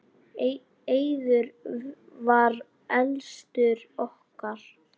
Eiður var elstur okkar.